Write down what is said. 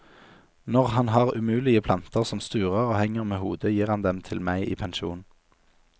Når han har umulige planter som sturer og henger med hodet, gir han dem til meg i pensjon.